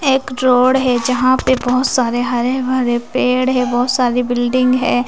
एक रोड है जहां पे बहोत सारे हरे भरे पेड़ है बहोत सारी बिल्डिंग है।